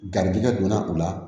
Garijɛgɛ donna u la